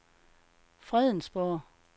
Fredensborg